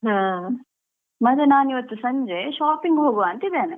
ಮತ್ತೇ ನಾನ್ ಇವತ್ತು ಸಂಜೆ shopping ಹೋಗುವಂತ ಇದ್ದೆನೇ.